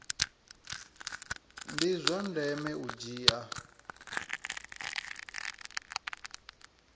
ndi zwa ndeme u dzhia